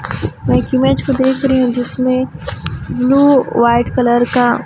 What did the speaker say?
में एक इमेज को देख रही हूं जिसमें ब्लू व्हाइट कलर का--